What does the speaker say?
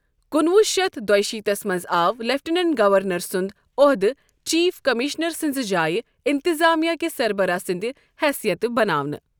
کُنہٕ وُہ شتھ دۄیِہ شیٖتس منٛز آو لیٚفٹیٚنٛیٚنٹ گَورنر سُنٛد عۄہدٕ چیٖف کٔمِشنر سٕنٛزِ جایہِ اِنتِظامیہ کہِ سربراہ سٕنٛدِ حیثیتہٕ بناونہٕ۔